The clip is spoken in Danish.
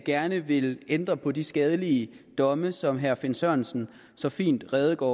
gerne vil ændre på de skadelige domme som herre finn sørensen så fint redegjorde